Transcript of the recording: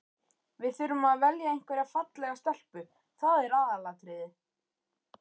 Við þurfum að velja einhverja fallega stelpu, það er aðalatriðið.